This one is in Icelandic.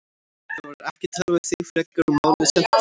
Þá verður ekki talað við þig frekar og málið sent til saksóknara.